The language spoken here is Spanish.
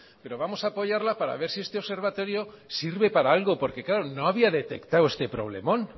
pero vamos a apoyarla para ver si este observatorio sirve para algo porque claro no había detectado este problemón